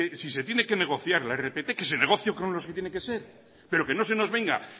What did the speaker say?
si se tiene que negociar la rpt que se negocie con los que tiene que ser pero que no se nos venga